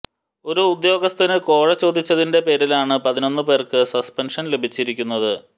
ഒരു ഉദ്യോഗസ്ഥന് കോഴ ചോദിച്ചതിന്റെ പേരിലാണ് പതിനൊന്ന് പേര്ക്ക് സസ്പെന്ഷന് ലഭിച്ചിരിക്കുന്നത്